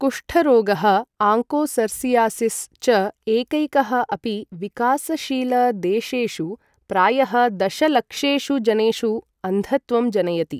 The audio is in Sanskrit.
कुष्ठरोगः आन्कोसर्सियासिस् च एकैकः अपि विकासशील देशेषु प्रायः दशलक्षेषु जनेषु अन्धत्वं जनयति।